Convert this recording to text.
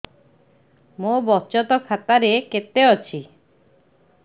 ମୋ ବଚତ ଖାତା ରେ କେତେ ଅଛି